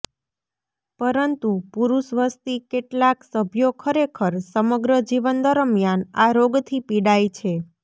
પરંતુ પુરૂષ વસ્તી કેટલાક સભ્યો ખરેખર સમગ્ર જીવન દરમિયાન આ રોગથી પીડાય છે